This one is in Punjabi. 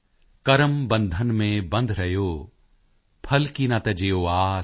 ਕਰਮ ਬੰਧਨ ਮੇਂ ਬੰਧ ਰਹਿਓ ਫਲ ਕੀ ਨਾ ਤਜਿਓ ਆਸ